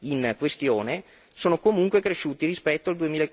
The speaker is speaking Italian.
in questione, sono comunque cresciuti rispetto al